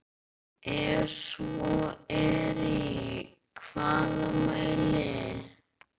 Ef svo er í hvaða mæli?